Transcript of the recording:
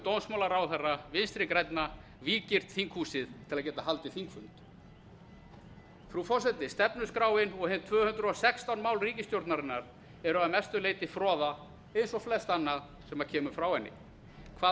dómsmálaráðherra vinstri grænna víggirt þinghúsið til að geta haldið þingfund frú forseti stefnuskráin og hin tvö hundruð og sextán mál ríkisstjórnarinnar eru að mestu leyti froða eins og flest annað sem kemur frá henni hvað varð